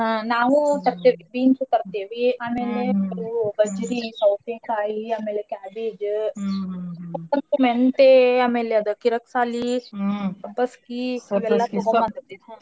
ಹ್ಮ್ ನಾವೂ ತರ್ತೇವೀ beans ಆಮೇಲೆ ಗಜ್ಜ್ರೀ, ಸೌತೇಕಾಯಿ ಆಮೇಲೆ cabbage ಮೆಂತ್ಯೇ ಆಮೇಲ್ ಅದ್ ಕೀರ್ಕಸಾಲಿ ಸಬ್ಬಸ್ಗೀ .